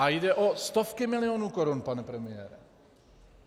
A jde o stovky milionů korun, pane premiére.